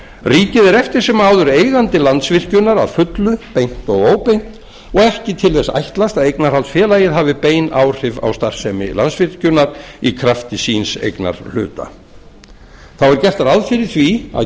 ríkið er eftir sem áður eigandi landsvirkjunar að fullu beint og óbeint og ekki til þess ætlast að eignarhaldsfélagið hafi bein áhrif á starfsemi landsvirkjunar í krafti síns eignarhluta þá er gert ráð fyrir því að